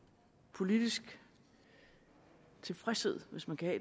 politisk tilfredshed hvis man kan